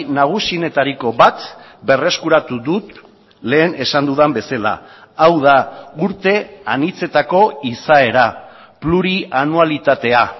nagusienetariko bat berreskuratu dut lehen esan dudan bezala hau da urte anitzetako izaera plurianualitatea